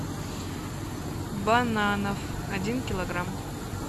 бананов один килограмм